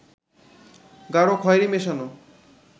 গাঢ় খয়েরি মেশানো